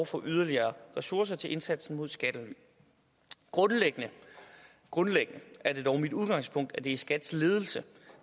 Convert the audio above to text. for yderligere ressourcer til indsatsen mod skattely grundlæggende grundlæggende er det dog mit udgangspunkt at det er skats ledelse